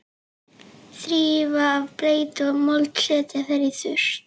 Þrífa af bleytu og mold og setja þær í þurrt.